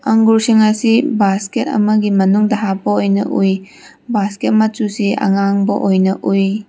ꯑꯡꯒꯨꯔ ꯁꯤꯡ ꯑꯁꯤ ꯕꯥꯁꯀꯦꯠ ꯑꯃꯒꯤ ꯃꯅꯨꯡꯗ ꯍꯥꯞꯄ ꯑꯣꯏꯅ ꯎꯏ ꯕꯥꯏꯀꯦꯠ ꯃꯆꯨꯁꯤ ꯑꯉꯥꯡꯕ ꯑꯣꯏꯅ ꯎꯏ꯫